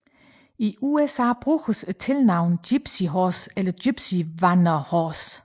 I USA bruges tilnavnet Gypsy Horse eller Gypsy Vanner Horse